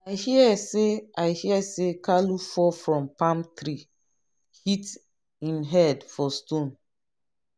i hear say i hear say kalu fall from palm tree hit him head for stone.